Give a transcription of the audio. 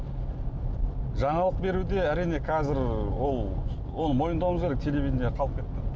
жаңалық беруде әрине қазір ол ол мойындауымыз керек телевидение қалып кетті